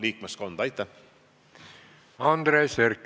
Andres Herkel, palun!